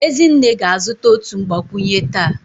Ezinne ga-azụta otu mgbakwunye taa